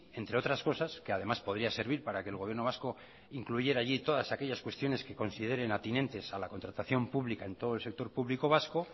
entre otras cosas que además podría servir para que el gobierno vasco incluyera allí todas aquellas cuestiones que consideren ateniente a la contratación pública en todo el sector público vasco